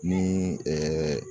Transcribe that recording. Ni